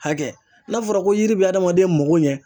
Hakɛ n'a fɔra ko yiri bɛ adamaden mako ɲɛ